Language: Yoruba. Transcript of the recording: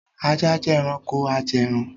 Ajá jẹ́ ẹranko ajẹẹran